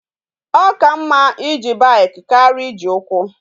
O ka mma ije bike karia Iji ukwu